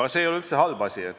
Aga see ei ole üldse halb.